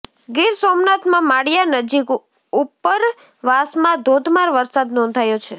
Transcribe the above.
ગીરસોમનાથમાં માળીયા નજીક ઉપરવાસમાં ધોધમાર વરસાદ નોંધાયો છે